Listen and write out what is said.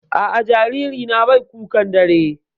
A'a, jaririna bai kukan dare.